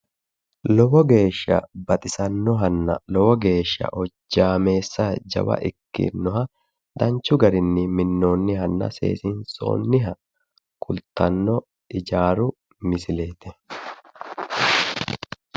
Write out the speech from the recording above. Lowo geesha baxisannohanna lowo geesha hojjaameessa jawa ikkinoha danchu garinni minnoonnihanna seesiinsoonniha kultanno ijaaru misileeti